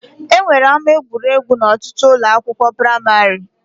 E nwere ama egwuregwu n'ọtụtụ ụlọ akwụkwọ praimarị